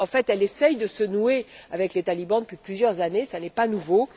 En fait, elle essaie de se nouer avec les talibans depuis plusieurs années, ce n'est pas nouveau.